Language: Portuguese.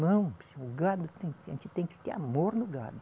Não, o gado, a gente tem que ter amor no gado.